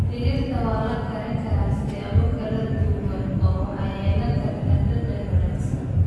Digirta waxaa la karin karaa siyaabo kala duwan oo waxay yeelan kartaa dhadhan wanaagsan.